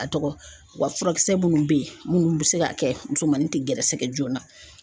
A tɔgɔ wa furakisɛ minnu bɛ yen minnu bɛ se ka kɛ musomanin tɛ gɛrɛsɛgɛ joona.